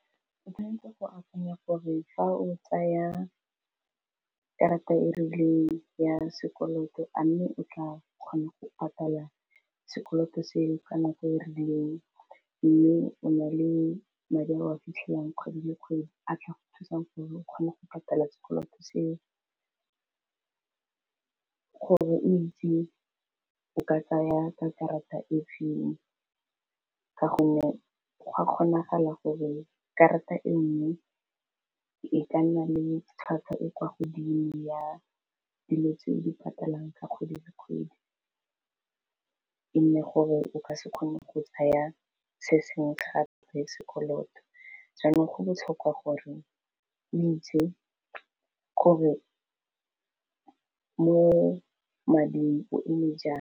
O tshwanetse go akanya gore fa o tsaya karata e rileng ya sekoloto a mme o tla kgona go patala sekoloto se ka nako e rileng, mme o na le madi a o a fitlhelwang kgwedi le kgwedi a tla thusang o kgone go patala sekoloto seo, gore o itse o ka tsaya ka karata e feng ka gonne gwa kgonagala gore karata eno e ka nna le tlhwatlhwa e kwa godimo ya dilo tse di patalang ka kgwedi le kgwedi, e nne gore o ka se kgone go tsaya se sengwe gape sekoloto jaanong go botlhokwa gore o itse gore mo mading o eme jang.